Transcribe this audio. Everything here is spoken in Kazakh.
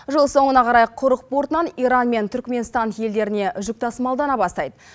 жыл соңына қарай құрық портынан иран мен түрікменстан елдеріне жүк тасымалдана бастайды